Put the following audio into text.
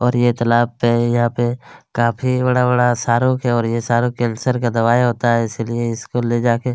और ये तालाब पे है और यहाँ पे काफी बड़ा-बड़ा सहारुक है और ये सारूक कैंसर का दवाई होता है इसलिए इस को ले जाके--